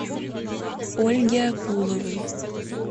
ольге акуловой